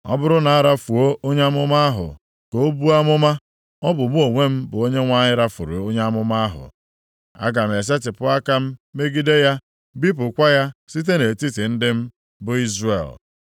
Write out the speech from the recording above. “ ‘Ọ bụrụ na arafuo onye amụma ahụ ka o buo amụma, ọ bụ mụ onwe m bụ Onyenwe anyị rafuru onye amụma ahụ. Aga m esetipụ aka m megide ya, bipụkwa ya site nʼetiti ndị m, bụ Izrel.